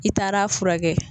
I taara fura kɛ.